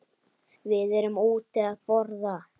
Við erum úti að borða.